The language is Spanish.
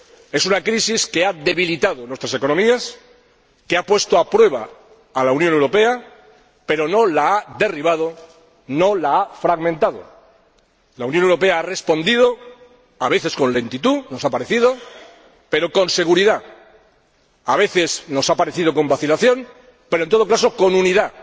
Es una crisis que ha debilitado nuestras economías, que ha puesto a prueba a la Unión Europea, pero no la ha derribado, no la ha fragmentado. La Unión Europea ha respondido, a veces con lentitud —nos ha parecido—, pero con seguridad, a veces con vacilación —parece—, pero, en todo caso, con